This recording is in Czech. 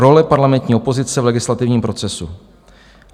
- Role parlamentní opozice v legislativním procesu.